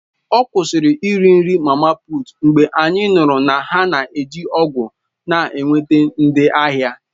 Ọ kwụsịrị iri mama puut mgbe anyị nụrụ na ha na-eji ọgwụ na-enweta ndị ahịa.